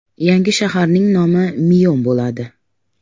Yangi shaharning nomi NEOM bo‘ladi.